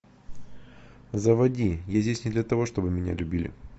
заводи я здесь не для того чтобы меня любили